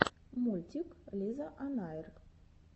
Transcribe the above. мультик лизаонайр